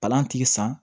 Palantigi san